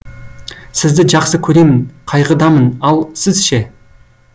сізді жақсы көремін қайғыдамын ал сіз ше